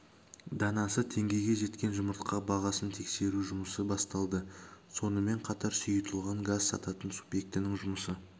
данасы теңгеге жеткен жұмыртқа бағасын тексеру жұмысы басталды сонымен қатар сұйылтылған газ сататын субьектінің жұмысы